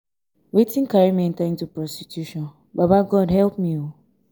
wetin carry me enter into prostitution baba god help me ooo